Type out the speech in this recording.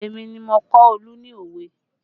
Èmi ni mo kọ́ Olu ní òwe